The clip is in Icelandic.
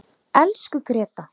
Elsku Gréta.